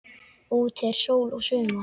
Úti er sól og sumar.